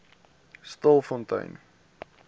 stilfontein